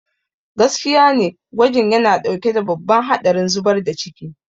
Gaskiya ne, gwajin yana ɗauke da babban haɗarin zubar da ciki.